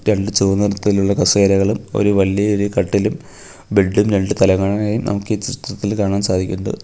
രണ്ട് ചുവന്ന നിറത്തിലുള്ള കസേരകളും ഒരു വലിയൊരു കട്ടിലും ബെഡും രണ്ടു തലങ്ങണയും നമുക്ക് ഈ ചിത്രത്തിൽ കാണാൻ സാധിക്കുന്നത്.